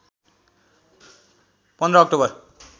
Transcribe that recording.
१५ October